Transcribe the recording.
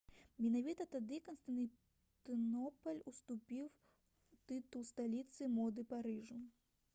менавіта тады канстанцінопаль уступіў тытул сталіцы моды парыжу